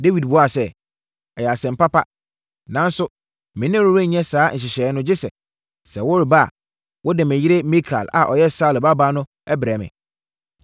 Dawid buaa sɛ, “Ɛyɛ asɛm papa, nanso me ne wo renyɛ saa nhyehyɛeɛ no gye sɛ, sɛ woreba a, wode me yere Mikal a ɔyɛ Saulo babaa no brɛ me.”